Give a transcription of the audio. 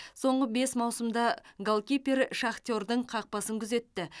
соңғы бес маусымда голкипер шахтердің қақпасын күзетті